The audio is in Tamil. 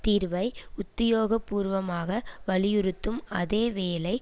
தீர்வை உத்தியோகபூர்வமாக வலியிறுத்தும் அதே வேளை